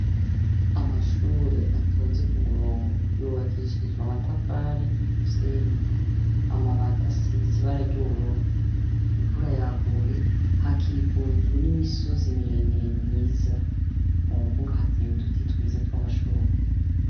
Amashure atonze ku murongo yubakishijwe amatafari n' umusenyi. Amabati asize ibara ry' ubururu. Imvura yaguye, hakikujwe n' imisozi muremure myiza. Mu mbuga hatewe uduti twiza tw' amashurwe.